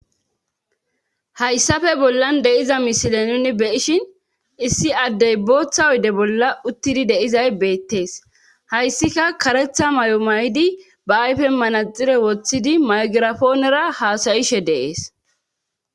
hayssafe bollan de'iza misile nuni be'ishin issi addey booththa oyde bolla uttidi de'izay beettees hayssika karetha mayo mayidi ba ayfen manaxire woththidi maygirafoonera haasayishe de'ees